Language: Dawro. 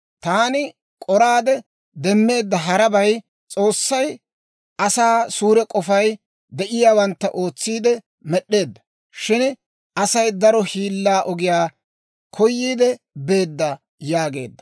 Taani k'oraade demmeedda harabay, S'oossay asaa suure k'ofay de'iyaawantta ootsiide med'd'eedda; shin Asay daro hiillaa ogiyaa koyiide beedda» yaageedda.